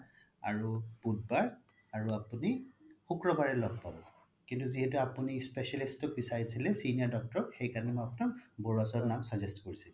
আৰু বুধবাৰ আৰু আপোনি শুক্ৰবাৰে লগ পাব কিন্তু যিহেতু আপোনি specialist ক বিছাৰিছিলে senior doctor সেইকাৰনে মই আপোনাক বাৰুৱা sir ৰ নাম suggest কৰিছিলো